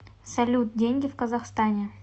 салют деньги в казахстане